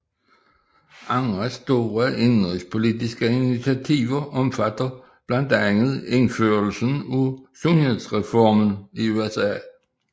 Andre store indenrigspolitiske initiativer omfatter blandt andet indførelsen af sundhedsreformen i USA